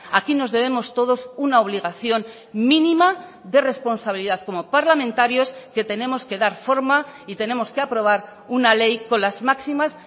aquí nos debemos todos una obligación mínima de responsabilidad como parlamentarios que tenemos que dar forma y tenemos que aprobar una ley con las máximas